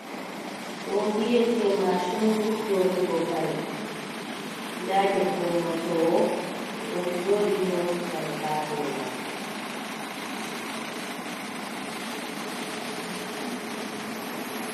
Ɗo bi’ete mashinru nyautugo kare, nda debbo nyautowo o ɗon joɗi nyauta kare ha dow manga.